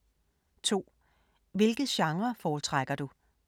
2) Hvilke genrer foretrækker du?